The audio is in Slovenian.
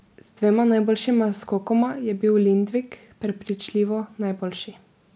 Z dvema najboljšima skokoma je bil Lindvik prepričljivo najboljši.